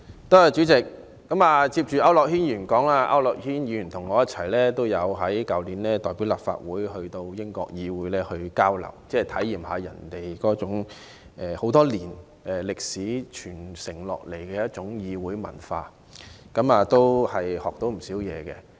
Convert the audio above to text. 代理主席，我緊接區諾軒議員發言，他和我去年曾代表立法會一同前往英國議會交流，體驗當地悠久歷史傳承下來的議會文化，獲益良多。